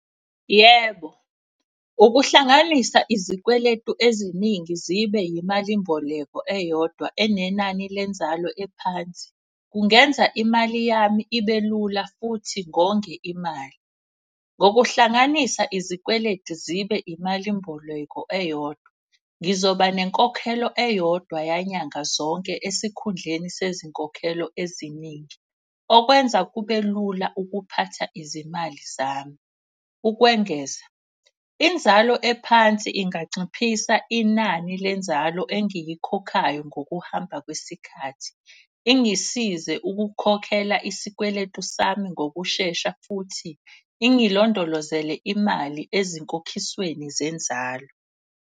Yebo, ukuhlanganisa izikweletu eziningi zibe yimalimboleko eyodwa enenani lenzalo ephansi. Kungenza imali yami ibe lula futhi ngonge imali. Ngokuhlanganisa izikweletu zibe imalimboleko eyodwa, ngizoba nenkokhelo eyodwa yanyanga zonke. Esikhundleni sezinkokhelo eziningi okwenza kube lula ukuphatha izimali zami. Ukwengeza, inzalo ephansi inganciphisa inani lenzalo engiyikhokhayo ngokuhamba kwesikhathi, ingisize ukukhokhela isikweletu sami ngokushesha. Futhi ingilondolozele imali ezinkokhisweni zenzalo.